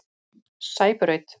Sæbraut